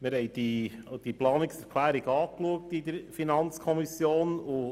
Wir haben diese Planungserklärung angeschaut.